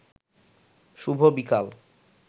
শুভ বিকাল